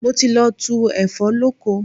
Mo ti lọ tu ẹ̀fọ́ lóko.